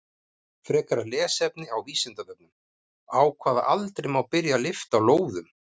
Frekara lesefni á Vísindavefnum: Á hvaða aldri má byrja að lyfta lóðum?